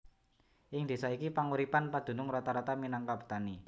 Ing désa iki panguripan padunung rata rata minangka petani